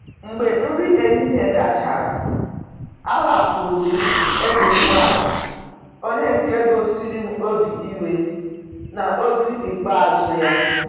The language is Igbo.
Mgbe nri ehihie gachara, alakwuru m enyi nwaanyị onye nke gosiri obi iwe n'ozi ikpeazụ ya.